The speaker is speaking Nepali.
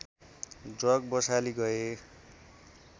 जग बसाली गए